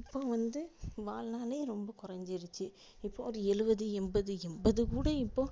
இப்போ வந்து வாழ் நாளே ரொம்ப கொறஞ்சிருச்சு இப்போ ஒரு எழுபது எண்பது எண்பது கூட இப்போ